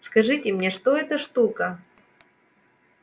скажите мне что это шутка